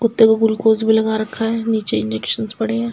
कुत्ते को ग्लूकोज भी लगा रखा है नीचे इंजेक्शन्स पड़े हैं।